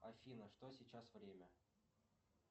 афина что сейчас время